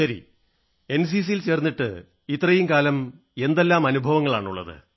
ശരി എൻസിസിയിൽ ചേർന്നിട്ട് ഇത്രയും കാലം എന്തെല്ലാം അനുഭവങ്ങളാണുള്ളത്